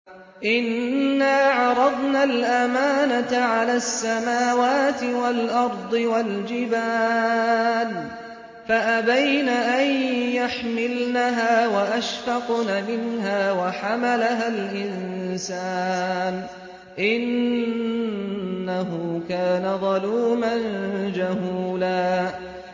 إِنَّا عَرَضْنَا الْأَمَانَةَ عَلَى السَّمَاوَاتِ وَالْأَرْضِ وَالْجِبَالِ فَأَبَيْنَ أَن يَحْمِلْنَهَا وَأَشْفَقْنَ مِنْهَا وَحَمَلَهَا الْإِنسَانُ ۖ إِنَّهُ كَانَ ظَلُومًا جَهُولًا